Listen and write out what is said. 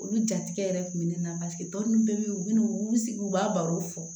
Olu jatigɛ yɛrɛ tun bɛ ne na paseke tɔ ninnu bɛɛ bɛ yen u bɛ na u bɛ sigi u b'a barow fɔ